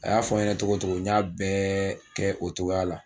A y'a fɔ n ɲɛna cogo o cogo n y'a bɛɛ kɛ o cogoya la